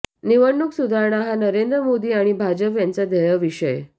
निवडणूक सुधारणा हा नरेंद्र मोदी आणि भाजप यांचा ध्येयविषय